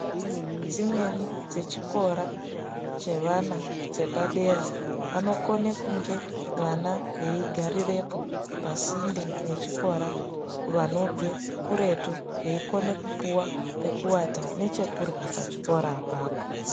Ndau dzimweni dzechikora chevana chepadera vanokona kunge vana veigarirapo pasinde nechikora vanobva kuretu veikona kupuwa pekuwata nechekurya pachikora ipapo.